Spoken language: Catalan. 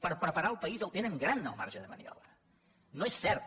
per preparar el país tenen gran el marge de maniobra no és cert